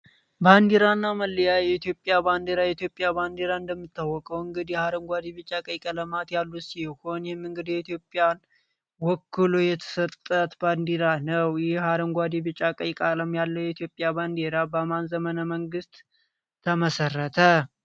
ባንዲራና መለያ የኢትዮጵያ ባንዲራ ኢትዮጵያ ባንዲራ እንደምታውቀው እንግዲህ አረንጓዴ ቀይ ቢጫ ቀለማት ያሉት የኢትዮጵያን ወሎ የተሰጣት ባንዲራ ነው ያለው የኢትዮጵያ ባንዲራ በማን ዘመነ መንግስት መሰረተ